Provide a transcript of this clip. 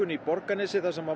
í Borgarnesi þar sem